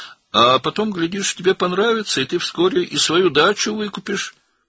Sonra görərsən, xoşuna gələcək və tezliklə öz bağ evini də alacaqsan.